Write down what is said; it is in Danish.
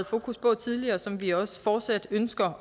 fokus på tidligere og som vi også fortsat ønsker